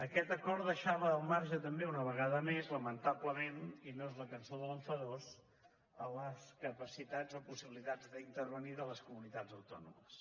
aquest acord deixava al marge també una vegada més lamentablement i no és la cançó de l’enfadós les capacitats o possibilitats d’intervenir de les comunitats autònomes